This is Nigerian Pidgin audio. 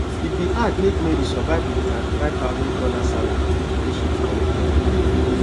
e bin hard make mary survive wit di thirty five thousand dollars salary wey she dey collect every year